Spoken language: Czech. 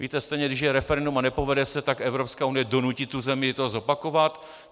Víte stejně, když je referendum a nepovede se, tak Evropská unie donutí tu zemi to zopakovat.